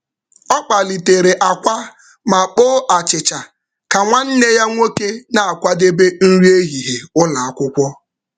Ọ kpalitere akwa ma kpoo achịcha ka nwanne ya nwoke ya nwoke na-akwadebe nri ehihie ụlọ akwụkwọ.